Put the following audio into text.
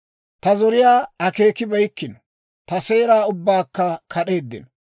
Ta zoriyaa akkibeyikkino; ta seera ubbaakka kad'eeddino.